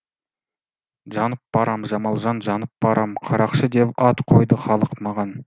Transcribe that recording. жанып барам жамалжан жанып барам қарақшы деп ат қойды халық маған